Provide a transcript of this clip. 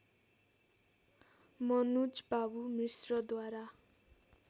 मनुजबाबु मिश्रद्वारा